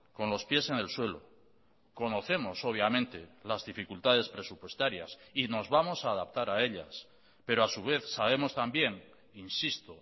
con los pies en el suelo conocemos obviamente las dificultades presupuestarias y nos vamos a adaptar a ellas pero a su vez sabemos también insisto